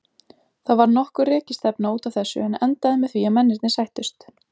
Það varð nokkur rekistefna út af þessu en endaði með því að mennirnir sættust.